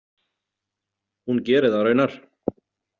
Hún gerir það raunar.